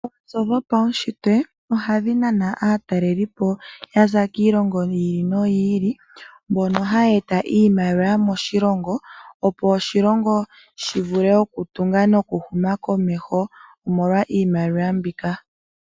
Oonzo dhopauntshitwe ohadhi nana aatalelipo yaza kiilongo yi ili noyi ili mbono haya eta iimaliwa moshilongo opo oshilongo shi vule okutunga nokuhuma komeho omolwa iimaliwa mbika.